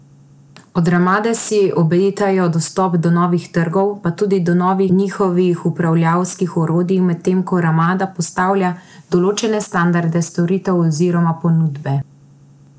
Od Ramade si obetajo dostop do novih trgov, pa tudi do novih njihovih upravljavskih orodij, medtem ko Ramada postavlja določene standarde storitev oziroma ponudbe.